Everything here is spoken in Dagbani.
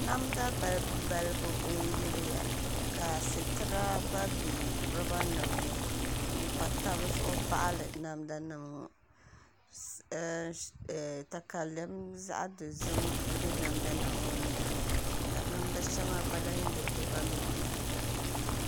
Namda balibu balibu n yiliya ka situra gba bɛ roba nim ni n pa tabi zuɣu baɣali namda nim ŋɔ takalɛm zaɣ dozim n bɛ namda nim ŋɔ nyaanga ka namda shɛŋa gba lahi yili namda nim ŋɔ nyaanga